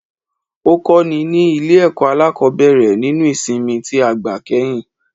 Ó kó ni ní Ilé èkó alákòbéèrè nínú ìsimi tí a gbà kéyìn